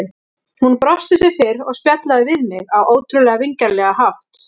Hún brosti sem fyrr og spjallaði við mig á ótrúlega vingjarnlegan hátt.